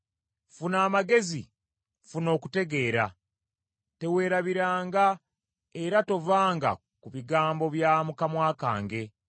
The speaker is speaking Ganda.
Funa amagezi; funa okutegeera, teweerabiranga era tovanga ku bigambo bya mu kamwa kange.